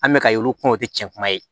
An bɛka y'olu kɔnɔ o tɛ tiɲɛ kuma ye